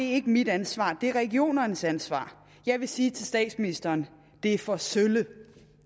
er ikke mit ansvar det er regionernes ansvar jeg vil sige til statsministeren det er for sølle